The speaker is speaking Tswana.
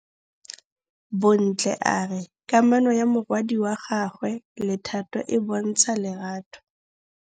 Bontle a re kamanô ya morwadi wa gagwe le Thato e bontsha lerato.